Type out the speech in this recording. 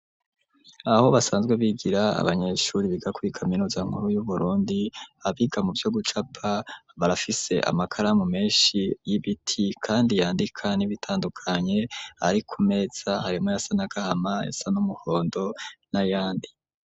Aho basanzwe bigira, abanyeshuri biga kuri kaminuza nkuru y'uburundi, abiga mu vyo gucapa, barafise amakaramu menshi y'ibiti, kandi yandika n'ibitandukanye ari ku meza, harimwo ayasa n'agahama, ayasa n'umuhondo, n'ayandi.